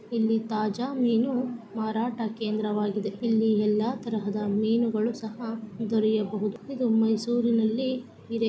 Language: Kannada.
ಇಲ್ಲಿ ತಾಜಾ ಮೀನು ಮಾರಾಟ ಕೇಂದ್ರವಾಗಿದೆ ಇಲ್ಲಿ ಎಲ್ಲ ತರಹದ ಮೀನುಗಳು ಸಹ ದೊರೆಯಬಹುದು ಇದು ಮೈಸೂರಿನಲ್ಲಿ ಇದೆ .